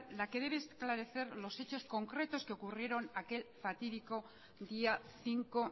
la que debe esclarecer los hechos concretos que ocurrieron aquel fatídico día cinco